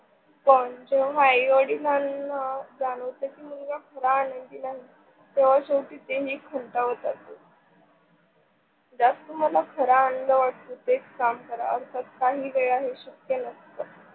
पण जेव्हा आई वडिलांना जाणवते मुलगा खरा आनंदी नाही तेव्हा शेवटी तेही खांतवतात. ज्यात तुम्हाला खरा आनंद वाटतो तेच काम करा. अर्थात काही वेळा हे शक्य नसतं.